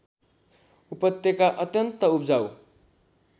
उपत्यका अत्यन्त उब्जाउ